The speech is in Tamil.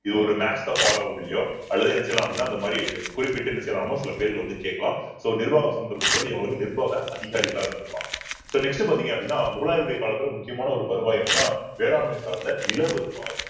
இது ஒரு match the follow அப்பிடியோ அல்லது என்ன செய்யலாம் அப்படின்னா இந்த மாதிரி இது குறிப்பிட்டு என்ன செய்யலாமமோ சில பேர்கள் வந்து கேக்கலாம் so நிர்வாகம் சம்பந்தப்பட்ட நிர்வாக அதிகாரிகளா இருந்திருப்பாங்க so next பார்த்தீங்க அப்படின்னா முகலாயருடைய காலத்துல முக்கியமான ஒரு வருவாய் அப்படின்னா வேளாண்மை சார்ந்த நில வருவாய்